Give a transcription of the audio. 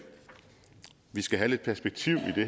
skal have lidt perspektiv i